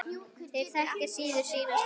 Þeir þekkja síður sína stöðu.